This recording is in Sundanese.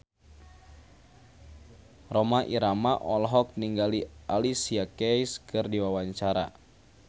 Rhoma Irama olohok ningali Alicia Keys keur diwawancara